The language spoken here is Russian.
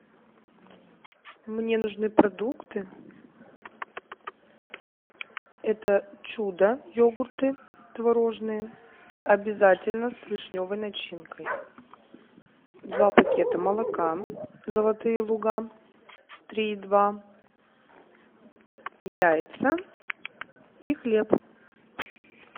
мне нужны продукты это чудо йогурты творожные обязательно с вишневой начинкой два пакета молока золотые луга три и два яйца и хлеб